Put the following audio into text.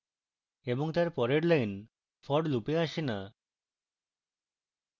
এবং তার পরের lines for loop এ আসে না